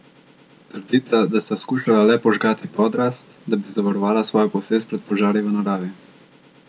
Trdita, da sta skušala le požgati podrast, da bi zavarovala svojo posest pred požari v naravi.